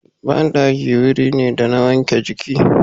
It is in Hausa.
Banɗaki wuri ne da na wanke jiki.